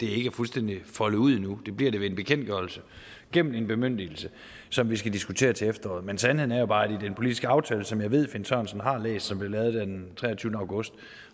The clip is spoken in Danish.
er fuldstændig foldet ud endnu det bliver det ved en bekendtgørelse gennem en bemyndigelse som vi skal diskutere til efteråret men sandheden er bare at i den politiske aftale som jeg ved finn sørensen har læst som blev lavet den treogtyvende august